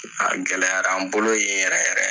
A gɛlɛyara an bolo yen yɛrɛ yɛrɛ.